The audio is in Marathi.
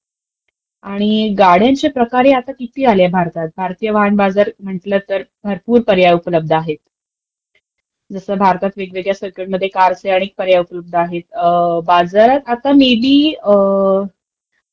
आणि गाड्यांचे प्रकारही किती आले भारतात. भारतीय वाहन बाजार म्हटलं तर भरपूर पर्याय उपलब्ध आहेत. तसं भारतातं वेगवेगळ्या not clear कार असल्यामुळे अनेक पर्याय उपलब्ध आहेत, अं..बाजारात आता मे बी